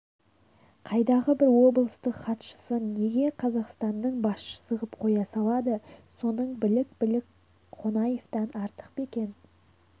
қайдағы бір облыстың хатшысын неге қазақстанның басшысы ғып қоя салады соның білік-білім қонаевтан артық па екен